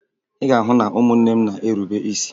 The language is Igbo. Ị ga-ahụ na ụmụnne m na-erube isi